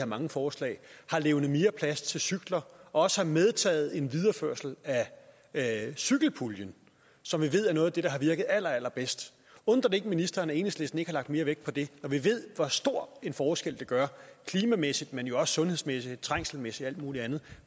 mange forslag har levnet mere plads til cykler og også medtaget en videreførelse af cykelpuljen som vi ved er noget af det der har virket allerallerbedst undrer det ikke ministeren at enhedslisten ikke har lagt mere vægt på det når vi ved hvor stor en forskel det gør klimamæssigt men jo også sundhedsmæssigt trængselsmæssigt og muligt andet